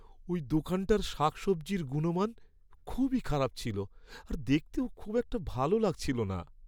ওই দোকানটার শাকসবজির গুণমান খুবই খারাপ ছিল আর দেখতেও খুব একটা ভালো লাগছিল না।